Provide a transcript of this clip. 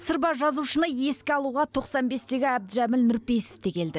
сырба жазушыны еске алуға тоқсан бестегі әбдіжәміл нұрпейісов те келді